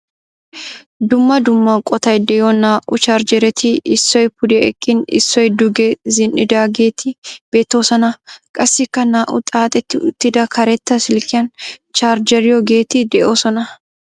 Dumma dumma qottay de'yo naa'u chargeretti issoy pude eqqin issoy duge zin'idaageeti beettoosona. Qassikka naa'u xaaxxetti uttida karetta silkiyaan charjiyoogeetti dee'oosona.